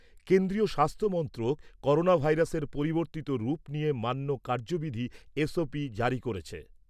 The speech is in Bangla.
কেন্দ্রীয় স্বাস্থ্য মন্ত্রক করোনা ভাইরাসের পরিবর্তিত রূপ নিয়ে মান্য কার্যবিধি জারি করেছে।